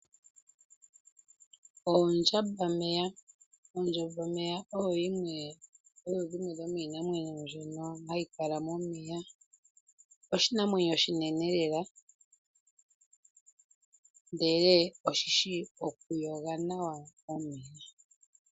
Ondjambameya. Ondjambameya oyo yimwe yomiinamwenyo mbyono hayi kala momeya . Oshinamwenyo oshinene lela ndele oshishi okuyoga nawa momeya.